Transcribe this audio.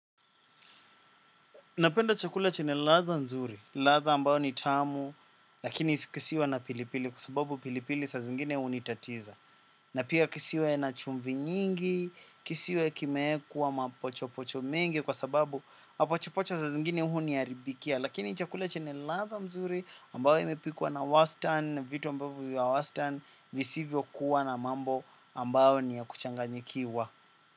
Napenda chakula chenye ladha nzuri, ladha ambayo ni tamu, lakini kisiwe na pilipili kwa sababu pilipili saa zingine hunitatiza. Na pia kisiwe na chumvi nyingi, kisiwe kimeekwa mapocho pocho mengi kwa sababu mapocho pocho saa zingine huniharibikia. Lakini chakula chenye ladha mzuri ambao imepikwa na wastani, vitu ambavyo vya wastani visivyo kuwa na mambo ambayo ni ya kuchanganyikiwa.